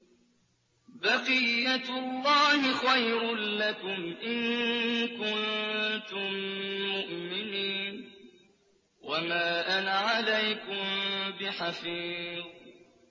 بَقِيَّتُ اللَّهِ خَيْرٌ لَّكُمْ إِن كُنتُم مُّؤْمِنِينَ ۚ وَمَا أَنَا عَلَيْكُم بِحَفِيظٍ